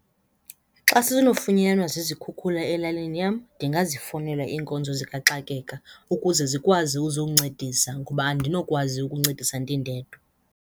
Xa sinofunyanwa zizikhukhula elalini yam ndingazifowunela iinkonzo zikaxakeka ukuze zikwazi uzokuncedisa ngoba andinokwazi ukuncedisa ndindedwa.